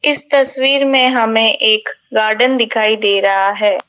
इस तस्वीर में हमें एक गार्डन दिखाई दे रहा है।